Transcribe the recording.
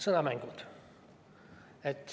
Sõnamängud.